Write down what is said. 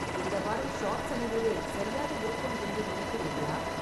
இந்த வாரம் ஷார்ட்ஸ் அணிவது சரியாக இருக்கும் என்று நினைக்கிறீர்களா